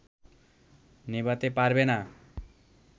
নেভাতে পারবে না